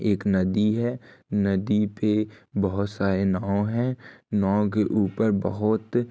एक नदी है नदी पे बहोत सारे नाँव हैं नांव के ऊपर बहोत --